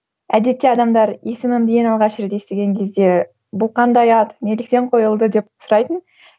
әдетте адамдар есімімді ең алғаш рет естіген кезде бұл қандай ат неліктен қойылды деп сұрайтын